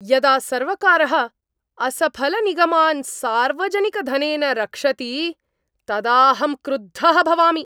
यदा सर्वकारः असफलनिगमान् सार्वजनिकधनेन रक्षति तदा अहं क्रुद्धः भवामि